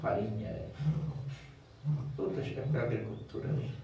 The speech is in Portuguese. farinha, outras agriculturas.